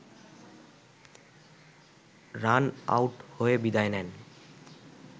run out হয়ে বিদায় নেন